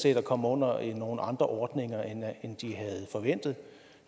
at komme under nogle andre ordninger end de havde forventet